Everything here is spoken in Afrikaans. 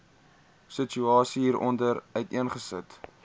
situasie hieronder uiteengesit